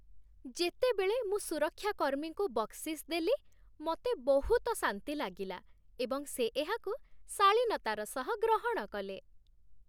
ଯେତେବେଳେ ମୁଁ ସୁରକ୍ଷା କର୍ମୀଙ୍କୁ ବକ୍ସିସ୍ ଦେଲି, ମୋତେ ବହୁତ ଶାନ୍ତି ଲାଗିଲା, ଏବଂ ସେ ଏହାକୁ ଶାଳୀନତାର ସହ ଗ୍ରହଣ କଲେ।